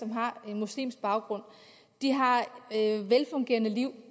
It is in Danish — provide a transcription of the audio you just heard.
har en muslimsk baggrund et velfungerende liv